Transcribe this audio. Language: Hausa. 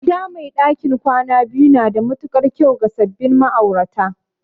Gida mai ɗakin kwana biyu na da matuƙar kyau ga sabbin ma'aurata